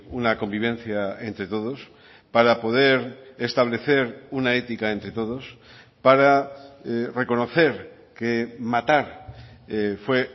una convivencia entre todos para poder establecer una ética entre todos para reconocer que matar fue